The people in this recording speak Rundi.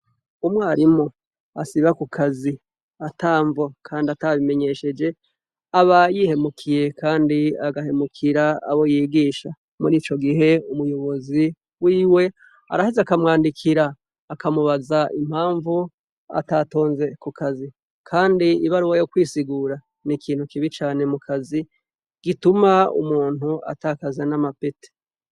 Umwarimu asiba ku kazi ata mvo kandi atabimenyesheje aba yihemukiye kandi agahemukira abo yigisha. Muri ico gihe, umuyobozi wiwe araheza akamwandikira akamubaza impamvu atatonze ku kazi kandi ibaruwa yo kwisigura ni ikintu kibi cane mu kazi gituma umuntu atakaza n'amapete.